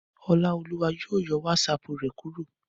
Ọláolúwa yóò yọ wátísapù rẹ̀ kúrò